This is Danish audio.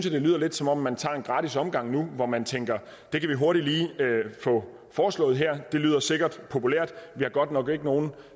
lidt lyder som om man tager en gratis omgang nu hvor man tænker det kan vi hurtigt lige få foreslået her det lyder sikkert populært vi har godt nok ikke nogen